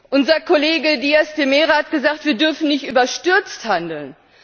Unser Kollege Díaz de Mera hat gesagt, wir dürfen nicht überstürzt handeln.